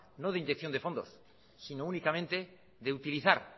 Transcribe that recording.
no de inyección de fondos sino únicamente de utilizar